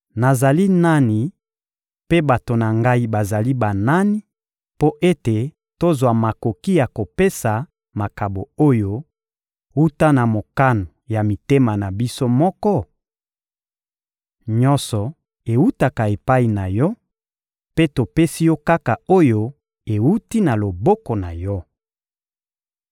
Nazali nani, mpe bato na ngai bazali banani, mpo ete tozwa makoki ya kopesa makabo oyo, wuta na mokano ya mitema na biso moko? Nyonso ewutaka epai na Yo, mpe topesi Yo kaka oyo ewuti na loboko na Yo.